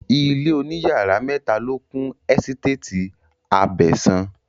Ilé òní yàrá mẹ́ta ló kún ẹ́sítétì Abẹ̀sán